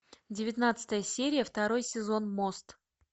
девятнадцатая серия второй сезон мост